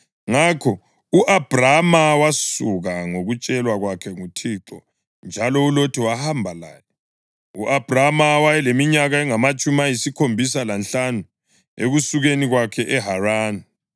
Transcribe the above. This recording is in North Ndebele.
Ngakho u-Abhrama wasuka, njengokutshelwa kwakhe nguThixo; njalo uLothi wahamba laye. U-Abhrama wayeleminyaka engamatshumi ayisikhombisa lanhlanu ekusukeni kwakhe eHarani.